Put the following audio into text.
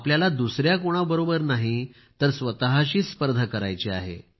आपल्याला दुसऱ्या कोणाबरोबर नाही तर स्वतःशीच स्पर्धा करायची आहे